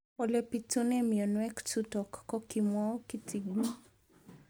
Ole pitune mionwek chutok ko kimwau kitig'�n